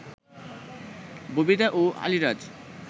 ববিতা ও আলীরাজ